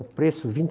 O preço, vinte